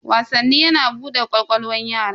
Wasanni yana bude ƙwaƙwalwan yara.